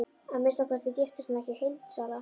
Að minnsta kosti giftist hún ekki heildsala.